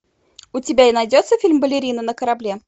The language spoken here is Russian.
у тебя найдется фильм балерина на корабле